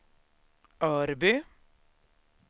Örby